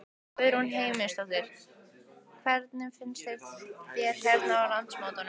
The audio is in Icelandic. Guðrún Heimisdóttir: Hvernig finnst þér hérna á landsmótinu?